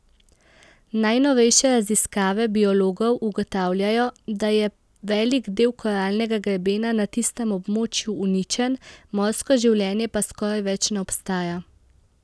Najnovejše raziskave biologov ugotavljajo, da je velik del koralnega grebena na tistem območju uničen, morsko življenje pa skoraj več ne obstaja.